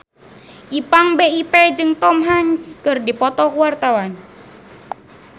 Ipank BIP jeung Tom Hanks keur dipoto ku wartawan